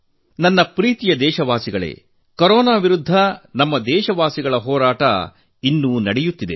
ನನ್ನ ಪ್ರೀತಿಯ ದೇಶವಾಸಿಗಳೇ ಕೊರೊನಾ ವಿರುದ್ಧ ನಮ್ಮ ದೇಶವಾಸಿಗಳ ಹೋರಾಟ ಇನ್ನೂ ನಡೆಯುತ್ತಿದೆ